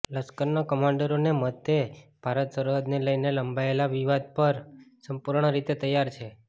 લશ્કરના કમાન્ડરોના મતે ભારત સરહદને લઈને લંબાયેલા વિવાદ પર સંપૂર્ણ રીતે તૈયાર છે